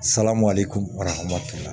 Salam ale kun arahama